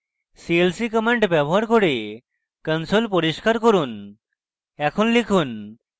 clc command ব্যবহার করে console পরিস্কার করুন এখন লিখুন: